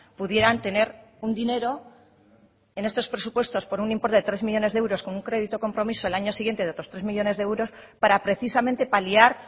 pudieran tener un dinero en estos presupuestos por un importe de tres millónes de euros con un crédito compromiso el año siguiente de otros tres millónes de euros para precisamente paliar